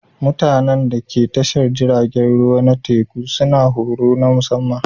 Mutanen da ke tashar jiragen ruwa na teku suna da horo na musamma